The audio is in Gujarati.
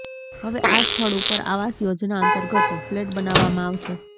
હવે આ સ્થળ ઉપર આવાસ યોજના અંતર્ગત ફલેટ બનાવવામાં આવશે